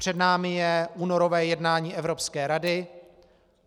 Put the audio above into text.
Před námi je únorové jednání Evropské rady.